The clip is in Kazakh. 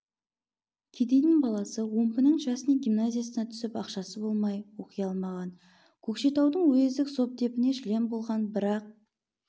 кедейдің баласы омбының частный гимназиясына түсіп ақшасы болмай оқи алмаған көкшетаудың уездік совдепіне член болған бірақ